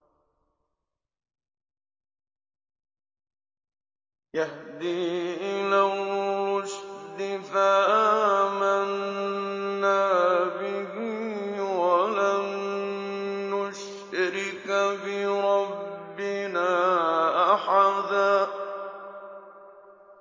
يَهْدِي إِلَى الرُّشْدِ فَآمَنَّا بِهِ ۖ وَلَن نُّشْرِكَ بِرَبِّنَا أَحَدًا